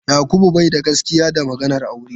Yakubu bai da gaske da maganar aure.